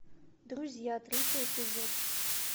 друзья третий эпизод